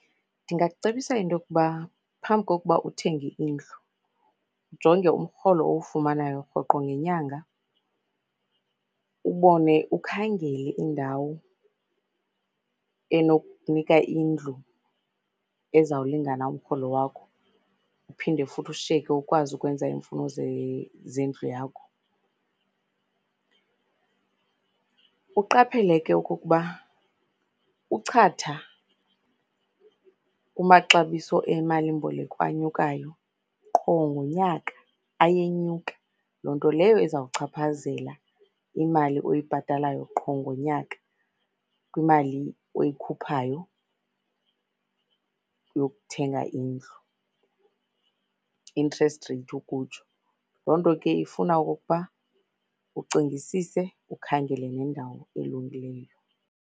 Ndingakucebisa into yokuba phambi kokuba uthenge indlu ujonge umrholo owufumanayo rhoqo ngenyanga, ubone, ukhangele indawo enokukunika indlu ezawulingana umrholo wakho uphinde futhi ushiyeke ukwazi ukwenza iimfuno zendlu yakho. Uqaphele ke okokuba uchatha kumaxabiso emalimboleko anyukayo qho ngonyaka ayenyuka, loo nto leyo ezawuchaphazela imali oyibhatalayo qho ngonyaka kwimali oyikhuphayo yokuthenga indlu, interest rate ukutsho. Loo nto ke ifuna okokuba ucingisise, ukhangele nendawo elungileyo.